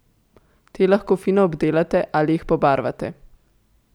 Te lahko fino obdelate ali jih pobarvate.